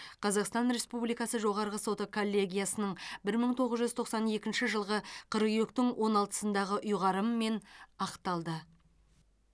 қазақстан республикасы жоғарғы соты коллегиясының бір мың тоғыз жүз тоқсан екінші жылғы қыркүйектің он алтысындағы ұйғарымымен ақталды